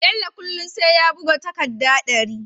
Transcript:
Bello kullun sai ya buga takadda dari